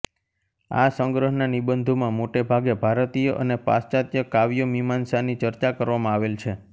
આ સંગ્રહના નિબંધોમાં મોટેભાગે ભારતીય અને પાશ્ચાત્ય કાવ્યમીમાંસાની ચર્ચા કરવામાં આવેલ છે